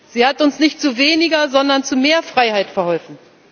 Sie hat uns nicht zu weniger, sondern zu mehr Freiheit verholfen.